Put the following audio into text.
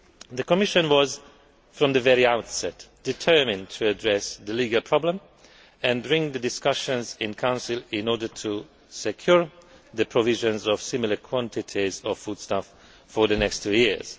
The Commission was, from the very outset, determined to address the legal problem and begin discussions in Council in order to secure the provision of similar quantities of foodstuffs for the next two years.